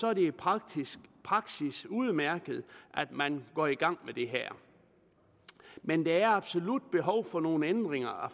er det i praksis praksis udmærket at man går i gang med det her men der er absolut behov for nogle ændringer